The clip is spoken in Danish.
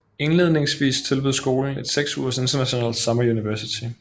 Indledningsvis tilbød skolen et seks ugers International Summer University